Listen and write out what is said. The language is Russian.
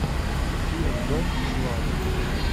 фильм дом из лавы